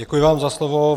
Děkuji vám za slovo.